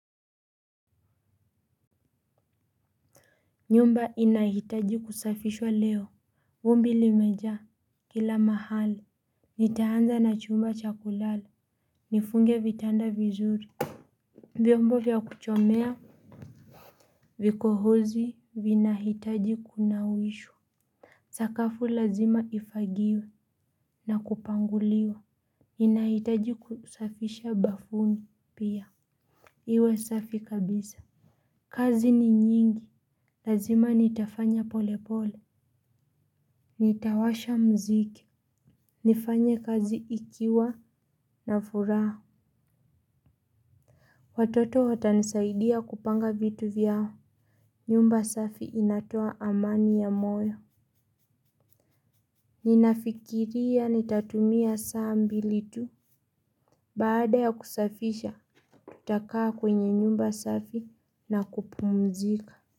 Nyumba inahitaji kusafishwa leo, vumbi limejaa kila mahali, nitaanza na chumba cha kulala, nifunge vitanda vizuri. Vyombo vya kuchomea vikohozi vinahitaji kunawishwa. Sakafu lazima ifagiwe na kupanguliwa, ninahitaji kusafisha bafuni pia. Iwe safi kabisa. Kazi ni nyingi, lazima nitafanya pole pole. Nitawasha mziki. Nifanye kazi ikiwa na furaha. Watoto watanisaidia kupanga vitu vyao. Nyumba safi inatoa amani ya moyo. Ninafikiria nitatumia saa mbili tu. Baada ya kusafisha tutakaa kwenye nyumba safi na kupumzika.